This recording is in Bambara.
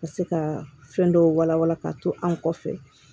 Ka se ka fɛn dɔw wala wala ka to an kɔfɛ